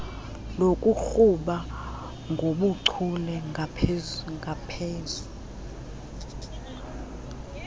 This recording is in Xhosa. lokuqhuba ngobuchule ngaphezu